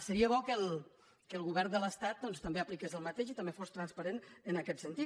seria bo que el govern de l’estat doncs també apliqués el mateix i també fos transparent en aquest sentit